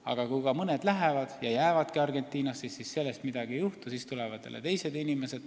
Aga kui ka mõned lähevad ja jäävadki Argentinasse, siis ega sellest midagi ei juhtu – siia tulevad jälle teised inimesed.